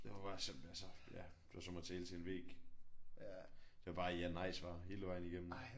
Ja hun var simpelthen så ja det var som at tale til en væg. Det var bare ja nej svar hele vejen igennem